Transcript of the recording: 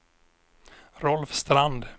Rolf Strand